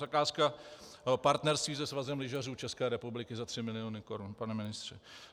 Zakázka partnerství se Svazem lyžařů České republiky za tři miliony korun, pane ministře.